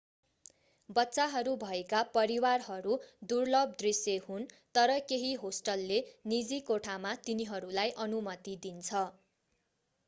बच्चाहरू भएका परिवारहरू दुर्लभ दृश्य हुन् तर केही होस्टलले निजी कोठामा तिनीहरूलाई अनुमति दिन्छ